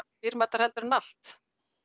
dýrmætara heldur en allt